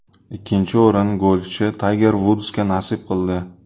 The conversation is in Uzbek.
Ikkinchi o‘rin golfchi Tayger Vudsga nasib qildi.